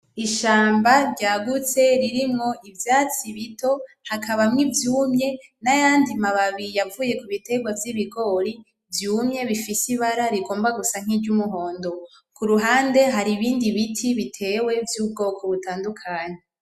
Ishamba ryagutse ririmo ivyatsi bito hakabamwo ivyumye nayandi mababi yavuye kubitegwa vy'ibigori vyumye bifise ibara rigomba gusa nkiry'umuhondo. Kuruhande hari ibindi biti bitewe vy'ubwoko butandukanye.